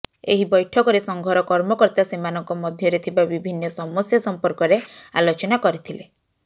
ଏହି ବୈଠକରେ ସଂଘର କର୍ମକର୍ତା ସେମାନଙ୍କ ମଧ୍ୟରେ ଥିବା ବିଭିନ୍ନ ସମସ୍ୟା ସଂପର୍କରେ ଆଲୋଚନା କରିଥିଲେ